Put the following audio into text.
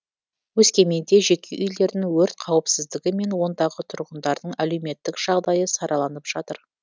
өскеменде жеке үйлердің өрт қауіпсіздігі мен ондағы тұрғындардың әлеуметтік жағдайы сараланып жатыр